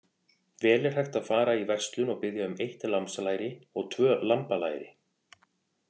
Vel er hægt að fara í verslun og biðja um eitt lambslæri og tvö lambalæri.